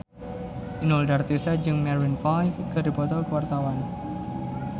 Inul Daratista jeung Maroon 5 keur dipoto ku wartawan